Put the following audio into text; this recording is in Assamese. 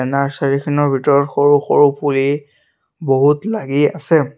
নাৰ্ছাৰী খনৰ ভিতৰত সৰু সৰু পুলি বহুত লাগি আছে।